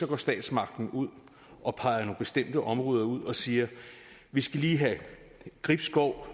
går statsmagten ud og peger nogle bestemte områder ud og siger vi skal lige have gribskov